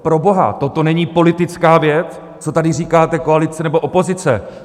Proboha, toto není politická věc, co tady říkáte, koalice nebo opozice.